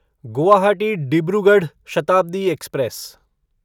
Guwahati Dibrugarh Shatabdi express